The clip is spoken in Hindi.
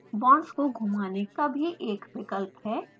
बॉन्ड्स को घुमाने का भी एक विकल्प है